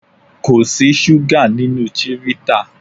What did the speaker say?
Kò sí súgà nínú chivita.